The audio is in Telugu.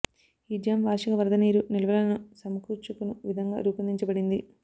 ఈ డ్యామ్ వార్షిక వరద నీరు నిల్వలను సమకూర్చుకొను విధంగా రూపొందించబడింది